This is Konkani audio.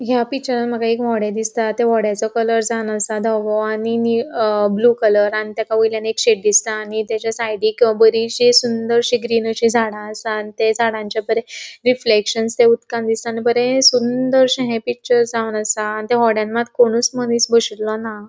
या पिक्चरान मका एक हॉडे दिसता त्या होडीचे कलर धोवों आणि नी ब्लू कलर आणि तक वयल्या एक शेड दिसता आणि तचा साइडिक बोरिशी सुंदरशी ग्रीनरी झाड़ा असा आणि थ्य झाडांचे बरे रिफ्लेक्शन थे उदकान दिसता आणि बोरे सुंदरशे ये पिक्चर जावणू असा आणि थ्य होड्यान मात्र कोणीच मुनिस बोसुलों ना.